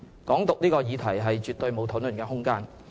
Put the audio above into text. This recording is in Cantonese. "港獨"這項議題絕對沒有討論空間。